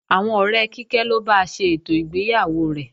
Àwọn ọ̀rẹ́ Kíkẹ́ ló ba ṣe ètò ìgbéyàwó rẹ̀